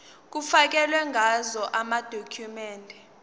kufakelwe ngazo amadokhumende